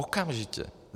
Okamžitě.